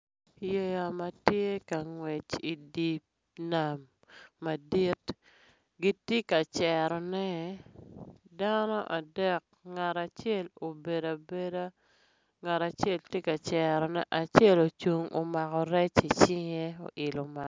Yeya matye ka ngwec idinam madit gitye ka cero ne, dano adek ngat acel obedo abeda, ngat acel tye ka cerrone, acel ocung omako rec i cinge oilo.